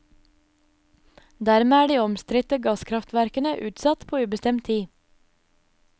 Dermed er de omstridte gasskraftverkene utsatt på ubestemt tid.